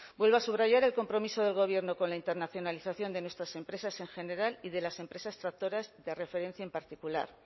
vuelvo a subrayar el compromiso del gobierno con la internacionalización de nuestras empresas en general y de las empresas tractoras de referencia en particular